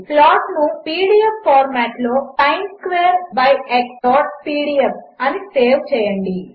ప్లాట్నుpdfఫార్మాట్లో sinsquarebyxపీడీఎఫ్ అనిసేవ్చేయండి